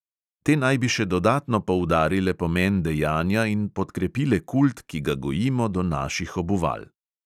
Te naj bi še dodatno poudarile pomen dejanja in podkrepile kult, ki ga gojimo do naših obuval.